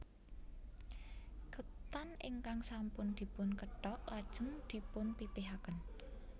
Ketan ingkang sampun dipun kethok lajeng dipun pipihaken